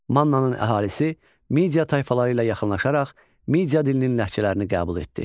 Mannanın əhalisi Media tayfaları ilə yaxınlaşaraq Media dilinin ləhcələrini qəbul etdi.